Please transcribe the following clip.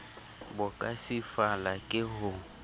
bo ka fifala ke ho